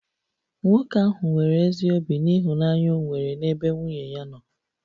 Nwoke ahụ nwere ezi obi n'ịhụnanya o nwere n'ebe nwunye ya nọ